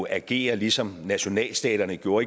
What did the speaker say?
agerer ligesom nationalstaterne gjorde